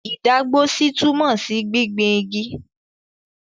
Ìdágbósí túmọ̀ sí gbingbin igi.